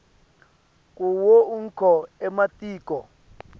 kuwo onkhe ematiko